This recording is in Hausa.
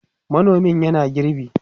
manomin yana girbi